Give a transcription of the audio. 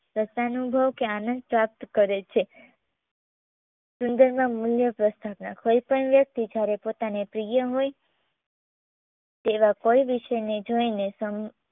સંતાનુભવ કે આનંદ પ્રાપ્ત કરે છે સુંદરના મૂલ્ય પ્રસ્થાપના કોઈપણ વ્યક્તિ જ્યારે પોતાના પ્રિય હોય તેવા કોઈ વિષયને જોઈને સમ